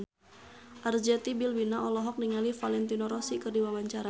Arzetti Bilbina olohok ningali Valentino Rossi keur diwawancara